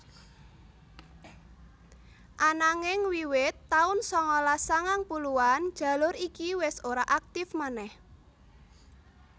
Ananging wiwit taun sangalas sangang puluhan jalur iki wis ora aktif manèh